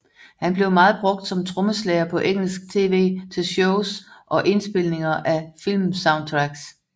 Han blev meget brugt som trommeslager på engelsk tv til shows og indspilninger af filmsoundtracks